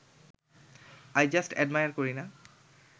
I just admire Kareena